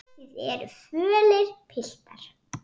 Þið eruð fölir, piltar.